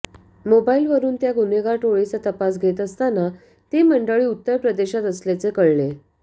मोबाईलवरून त्या गुन्हेगार टोळीचा तपास घेत असताना ती मंडळी उत्तर प्रदेशात असल्याचे कळले